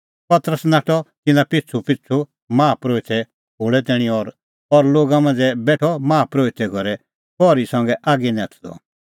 पतरस नाठअ तिन्नां पिछ़ूपिछ़ू माहा परोहिते खोल़ै तैणीं और लोगा मांझ़ै बेठअ माहा परोहिते घरे पहरी संघै आगी नैथदअ